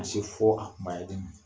Ka na se fɔ a kunbayali ma